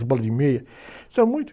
Bola de meia, isso é muito